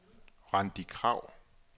Randi Krag